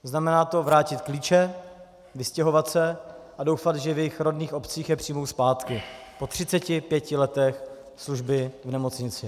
Znamená to vrátit klíče, vystěhovat se a doufat, že v jejich rodných obcích je přijmou zpátky po 35 letech služby v nemocnici.